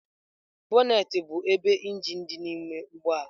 Bonnet bụ ebe injin dị n'ime ụgbọ ala.